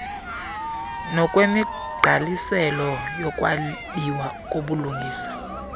nokwemigqaliselo yokwabiwa kobulungisa